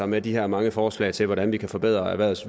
med at de her mange forslag til hvordan vi kan forbedre erhvervets